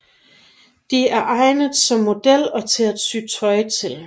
De er egnet som model og til at sy tøj til